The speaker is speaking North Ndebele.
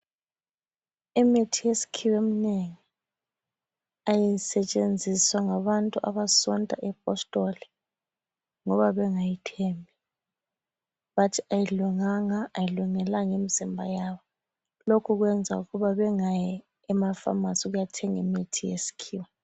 Imithi yesikhiwa eminengi ayisetshenziswa ngabantu abasonta ipostoli ngoba bengayithembi. Bathi ayilunganga, ayilungelanga imzimba yabo. Lokho kwenza ukuba bengayi emafamasi ukuyathenga imithi yesikhiwa.